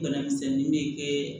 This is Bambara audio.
Bana misɛnnin be kɛ